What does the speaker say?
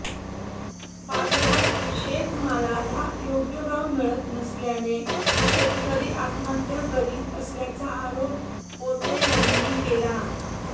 बाजारात शेतमालाला योग्य भाव मिळत नसल्याने शेतकरी आत्महत्या करीत असल्याचा आरोप कोते यांनी केला